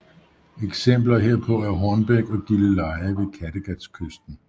Eksempler herpå er Hornbæk og Gilleleje ved Kattegatkysten